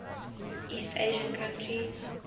east asian countries